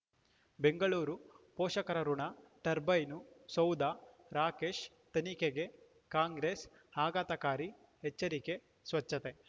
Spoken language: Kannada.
ಬೆಂಗಳೂರು ಪೋಷಕರಋಣ ಟರ್ಬೈನು ಸೌಧ ರಾಕೇಶ್ ತನಿಖೆಗೆ ಕಾಂಗ್ರೆಸ್ ಆಘಾತಕಾರಿ ಎಚ್ಚರಿಕೆ ಸ್ವಚ್ಛತೆ